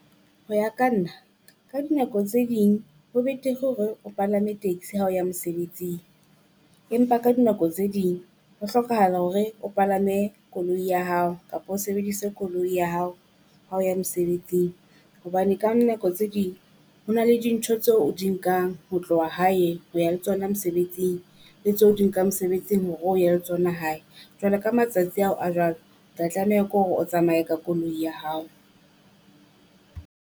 Ho ya ka nna ka dinako tse ding ho betere hore o palame taxi ha o ya mesebetsing. Empa ka dinako tse ding ho hlokahala hore o palame koloi ya hao kapa o sebedise koloi ya hao ha o ya mesebetsing, hobane ka nako tse ding ho na le dintho tse o di nkang ho tloha hae ho ya le tsona mesebetsing. Le tse o di nkang mosebetsing hore o ye le tsona hae, jwale ka matsatsi ao a jwalo, tla tlameha ko re o tsamaye ka koloi ya hao.